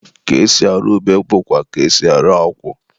ka esi arụ ube bụkwa ka e si arụ akwụ.